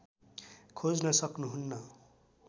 खोज्न सक्नु हुन्न